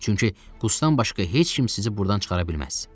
Çünki Qustdan başqa heç kim sizi burdan çıxara bilməz.